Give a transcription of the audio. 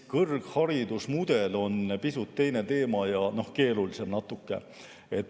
Kõrgharidusmudel on pisut teine teema ja natuke keerulisem.